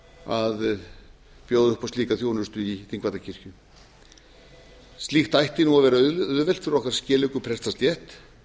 að bjóða upp á slíka þjónustu í þingvallakirkju slíkt ætti að vera auðvelt fyrir okkar skeleggu prestastétt